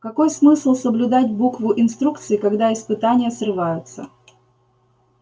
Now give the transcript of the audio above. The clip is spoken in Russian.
какой смысл соблюдать букву инструкции когда испытания срываются